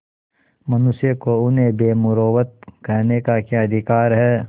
मनुष्यों को उन्हें बेमुरौवत कहने का क्या अधिकार है